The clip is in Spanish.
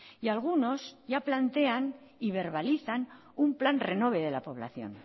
y algunos ya plantean y verbalizan un plan renove de la población